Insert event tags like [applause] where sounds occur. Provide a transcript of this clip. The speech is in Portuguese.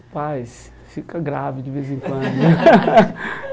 Rapaz, fica grave de vez em quando. [laughs]